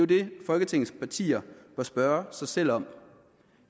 det folketingets partier bør spørge sig selv om